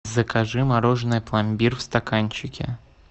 закажи мороженое пломбир в стаканчике